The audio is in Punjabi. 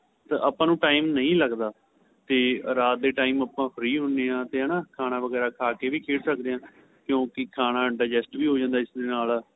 ਆਪਾਂ ਨੂੰ time ਨਹੀਂ ਲੱਗਦਾ ਤੇ ਰਾਤ ਦੇ time ਆਪਾਂ free ਹੁੰਦੇ ਹਾਂ ਤੇ ਹੈਨਾ ਖਾਣਾ ਵਗੇਰਾ ਖਾਂ ਵੀ ਖੇਡ ਸਕਦੇ ਆਂ ਕਿਉਂਕਿ ਖਾਣਾ digest ਵੀ ਹੋ ਜਾਂਦਾ ਇਸ ਦੇ ਨਾਲ